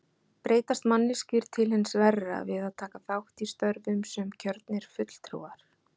Breytast manneskjur til hins verra við að taka þátt í störfum sem kjörnir fulltrúar?